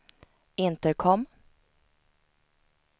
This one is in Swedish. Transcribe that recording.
intercom